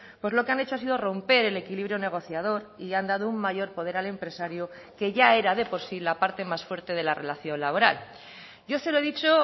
pues lo que han hecho ha sido romper el equilibrio negociador y han dado un mayor poder al empresario que ya era de por sí la parte más fuerte de la relación laboral yo se lo he dicho